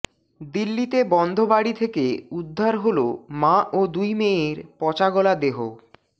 দিল্লিতে বন্ধ বাড়ি থেকে উদ্ধার হল মা ও দুই মেয়ের পচাগলা দেহ